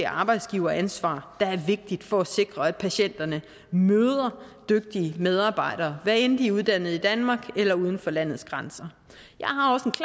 arbejdsgiveransvaret der er vigtigt for at sikre at patienterne møder dygtige medarbejdere hvad enten de er uddannet i danmark eller uden for landets grænser jeg